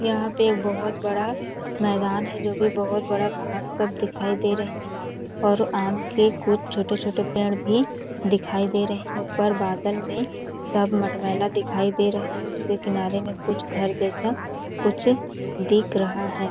यहाँ पे एक बहुत बड़ा मैदान है जो कि बहुत बड़ा घास सब दिखाई दे रहे और आम के कुछ छोटे-छोटे पेड़ भी दिखाई दे रहे हैं ऊपर बादल में सब मटमैला दिखाई दे रहे है उसके किनारे में कुछ घर जैसा कुछ दिख रहा है।